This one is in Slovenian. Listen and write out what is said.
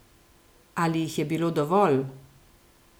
Ali jih je bilo dovolj?